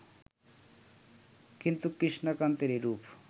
কিন্তু কৃষ্ণকান্তের এরূপ